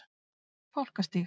Fálkastíg